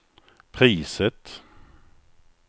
priset